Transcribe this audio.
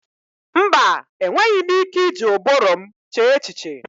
Mba! Enweghị m ike iji ụbụrụ m chee echiche.